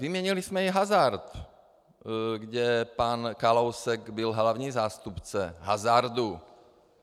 Vyměnili jsme i hazard, kde pan Kalousek byl hlavní zástupce hazardu.